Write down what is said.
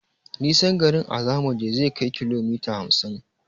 Nisan garin a zamuje zai kai kilomita hamsin